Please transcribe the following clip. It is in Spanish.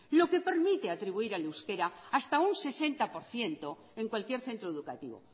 lo que permite atribuir al euskera hasta un sesenta por ciento en cualquier centro educativo